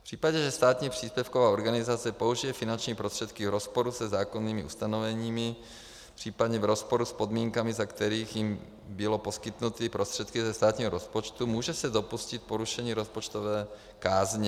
V případě, že státní příspěvková organizace použije finanční prostředky v rozporu se zákonnými ustanoveními, případně v rozporu s podmínkami, za kterých jí byly poskytnuty prostředky ze státního rozpočtu, může se dopustit porušení rozpočtové kázně.